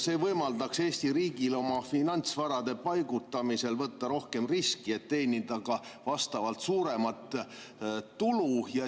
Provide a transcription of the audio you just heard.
See võimaldaks Eesti riigil oma finantsvarade paigutamisel võtta rohkem riski, et teenida vastavalt suuremat tulu.